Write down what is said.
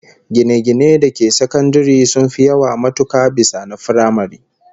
Gine-ginen da ke sakandare sun fi yawa matuka bisa na firamare